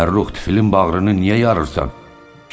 Fəxrrux bizim bağrını niyə yarırırsan?